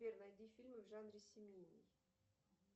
сбер найди фильмы в жанре семейный